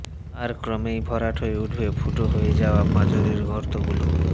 আর ক্রমেই ভরাট হয়ে উঠবে ফুটো হয়ে যাওয়া পাঁজরের গর্তগুলো